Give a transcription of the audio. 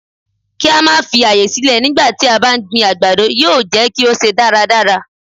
Kí á máa fi àyè sílẹ̀ nígbà tí a bá ń gbin àgbàdo yóò jẹ́ kí ó ṣe dáradára.